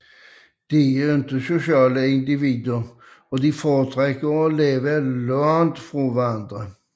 De er ikke sociale individer og foretrækker at leve langt fra hinanden